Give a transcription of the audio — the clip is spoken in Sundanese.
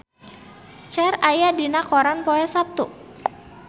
Cher aya dina koran poe Saptu